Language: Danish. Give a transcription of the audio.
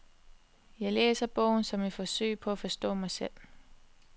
Jeg læser bogen som et forsøg på at forstå sig selv.